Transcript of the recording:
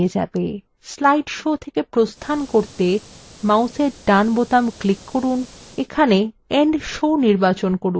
slide show থেকে প্রস্থান করতে মাউসের ডান click করুন এখানে end show নির্বাচন করুন